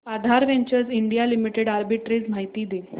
आधार ventures India limited arbitrage माहिती दे